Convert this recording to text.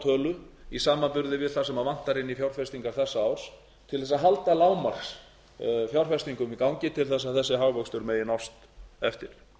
tölu í samanburði við það sem vantar inn í fjárfestingar þessa árs til að halda lágmarksfjárfestingum í gangi til að þessi hagvöxtur megi nást eftir